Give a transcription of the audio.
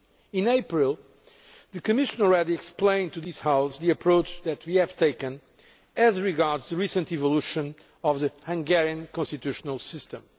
In April the Commission explained to this House the approach that we have taken as regards the recent developments in the Hungarian constitutional system.